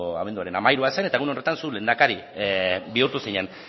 abenduaren hamairua zen eta egun horretan zu lehendakari bihurtu zinen